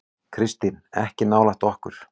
Kristín: Ekki nálægt okkur.